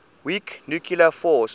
weak nuclear force